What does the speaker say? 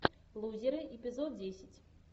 лузеры эпизод десять